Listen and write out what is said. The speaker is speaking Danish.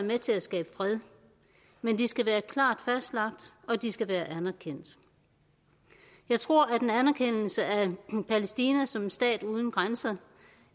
med til at skabe fred men de skal være klart fastlagt og de skal være anerkendt jeg tror at en anerkendelse af palæstina som en stat uden grænser